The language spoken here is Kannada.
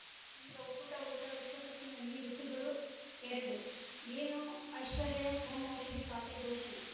ಈಗ ಉಕುಟ ಊಟ ವಿಶ್ವಕಪ್ಪಿನಲ್ಲಿ ಋತುಗಳು ಎರಡು ಏನು ಐಶ್ವರ್ಯಾ ಓಂ ಔಷಧಿ ಖಾತೆ ಘೋಷಣೆ